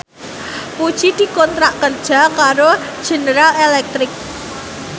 Puji dikontrak kerja karo General Electric